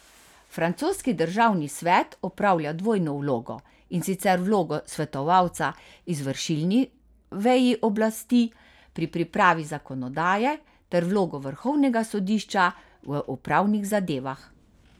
Francoski državni svet opravlja dvojno vlogo, in sicer vlogo svetovalca izvršilni veji oblasti pri pripravi zakonodaje ter vlogo vrhovnega sodišča v upravnih zadevah.